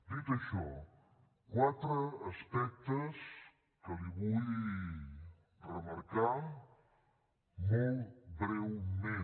dit això quatre aspectes que li vull remarcar molt breument